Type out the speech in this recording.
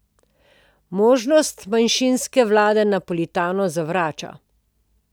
Možnost manjšinske vlade Napolitano zavrača.